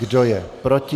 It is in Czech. Kdo je proti?